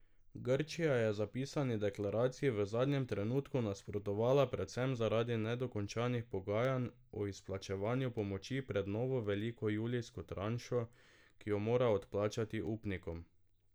Grčija je zapisani deklaraciji v zadnjem trenutku nasprotovala predvsem zaradi nedokončanih pogajanj o izplačevanju pomoči pred novo veliko julijsko tranšo, ki jo mora odplačati upnikom.